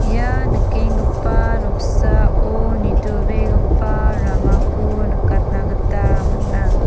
ia nikenggipa noksao nitobegipa ramako nikatna gita man·a.